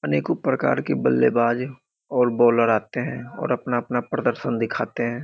अनेकों प्रकार के बल्लेबाज और बॉलर आते हैं और अपना-अपना प्रदर्शन दिखाते हैं।